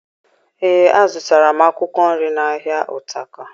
Ee, azụtara m akụkwọ nri n'ahịa Utako